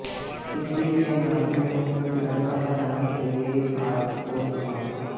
इसी के नाते उन्होंने तिरंगा फहराने के लिए हिसार को चुना